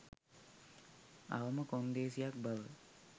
අවම කොන්දේසියක් බව